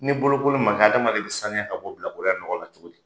Ni bolokoli ma kɛ, adamaden bɛ saniya ka bɔ bilakoroya nɔgɔ la cogo di?